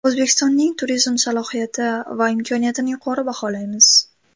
O‘zbekistonning turizm salohiyati va imkoniyatini yuqori baholaymiz.